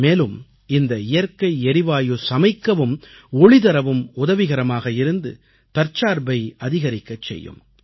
மேலும் இந்த இயற்கை எரிவாயு சமைக்கவும் ஒளி தரவும் உதவிகரமாக இருந்து தற்சார்பை அதிகரிக்கச் செய்யும்